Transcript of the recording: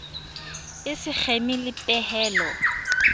e se kgeme le pehelo